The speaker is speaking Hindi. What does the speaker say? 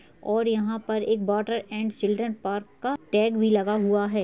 और यहाँ पर एक वोटर एण्ड चिल्ड्रन पार्क का टैग भी लगा हुआ है।